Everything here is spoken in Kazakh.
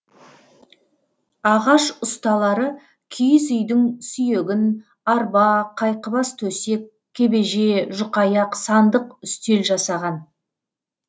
ағаш ұсталары киіз үйдің сүйегін арба қайқыбас төсек кебеже жүкаяқ сандық үстел жасаған